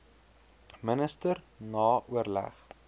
minister na oorleg